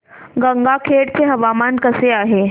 गंगाखेड चे हवामान कसे आहे